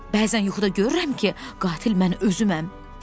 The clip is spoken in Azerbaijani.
Bəzən yuxuda görürəm ki, qatil mən özüməm.